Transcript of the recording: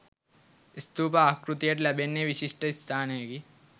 ස්ථූප ආකෘතියට ලැබෙන්නේ විශිෂ්ට ස්ථානයකි.